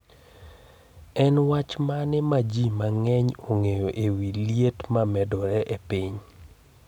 En wach mane ma ji mang'eny ong'eyo e wi liet ma medore e piny?